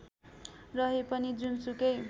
रहे पनि जुनसुकै